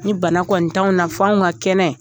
Ni bana kɔni t'anw na f'anw ka kɛnɛ